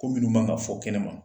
Ko minnu ma ŋa fɔ kɛnɛma.